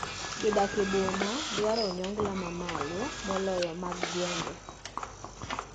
Joot ma odak e boma dwaro onyongla ma mamalo moloyo mag gwenge.